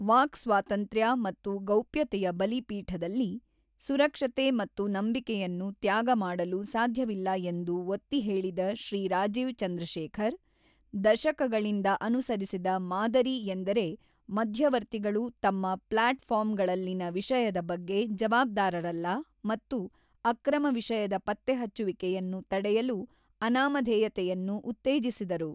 Walk ಸ್ವಾತಂತ್ರ್ಯ ಮತ್ತು ಗೌಪ್ಯತೆಯ ಬಲಿಪೀಠದಲ್ಲಿ ಸುರಕ್ಷತೆ ಮತ್ತು ನಂಬಿಕೆಯನ್ನು ತ್ಯಾಗ ಮಾಡಲು ಸಾಧ್ಯವಿಲ್ಲ ಎಂದು ಒತ್ತಿಹೇಳಿದ ಶ್ರೀ ರಾಜೀವ್ ಚಂದ್ರಶೇಖರ್, ದಶಕಗಳಿಂದ ಅನುಸರಿಸಿದ ಮಾದರಿ ಎಂದರೆ ಮಧ್ಯವರ್ತಿಗಳು ತಮ್ಮ ಪ್ಲಾಟ್ ಫಾರ್ಮ್ ಗಳಲ್ಲಿನ ವಿಷಯದ ಬಗ್ಗೆ ಜವಾಬ್ದಾರರಲ್ಲ ಮತ್ತು ಅಕ್ರಮ ವಿಷಯದ ಪತ್ತೆಹಚ್ಚುವಿಕೆಯನ್ನು ತಡೆಯಲು ಅನಾಮಧೇಯತೆಯನ್ನು ಉತ್ತೇಜಿಸಿದರು.